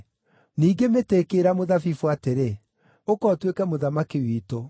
“Ningĩ mĩtĩ ĩkĩĩra mũthabibũ atĩrĩ, ‘Ũka ũtuĩke mũthamaki witũ.’